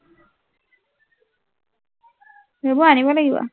সেইবোৰ আনিব লাগিব